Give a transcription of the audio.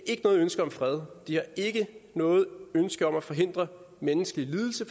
ikke noget ønske om fred de har ikke noget ønske om at forhindre menneskelig lidelse